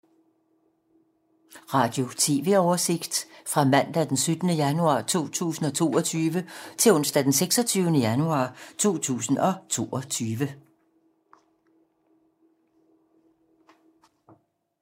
Radio/TV oversigt fra mandag d. 17. januar 2022 til onsdag d. 26. januar 2022